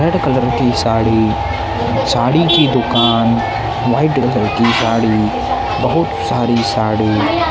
red colour की साड़ी साड़ी की दुकान वाइट ग्रे कलर की साड़ी बहुत सारी साड़ी--